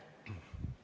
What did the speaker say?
Aeg!